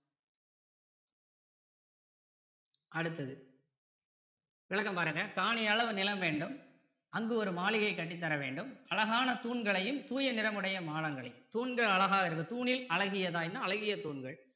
அடுத்தது விளக்கம் பாருங்க காணி அளவு நிலம் வேண்டும் அங்கு ஒரு மாளிகை கட்டித்தர வேண்டும் அழகான தூண்களையும் தூய நிறம் உடைய மாடங்களையும் தூண்கள் அழகாய் இருக்கு தூணில் அழகியதாயின்னா அழகிய தூண்கள்